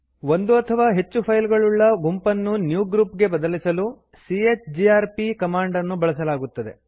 ಒಂದು ಅಥವಾ ಹೆಚ್ಚು ಫೈಲ್ ಗಳುಳ್ಳ ಗುಂಪನ್ನು ನ್ಯೂಗ್ರೂಪ್ ಗೆ ಬದಲಿಸಲು ಚಿಜಿಆರ್ಪಿ ಕಮಾಂಡ್ ಅನ್ನು ಬಳಸಲಾಗುತ್ತದೆ